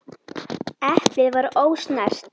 Eplið var ósnert.